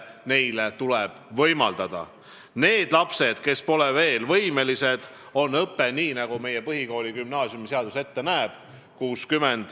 Nendel lastel, kes pole veel selleks võimelised, on õppemudel 60 : 40, nii nagu põhikooli- ja gümnaasiumiseadus ette näeb.